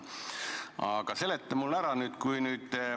Aga seleta mulle ära!